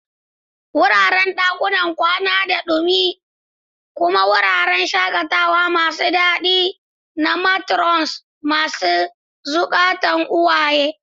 Wuraren dakunan kwana suna da ɗumi kuma wuraren shakatawa masu daɗi ga matrons masu zukatan uwaye.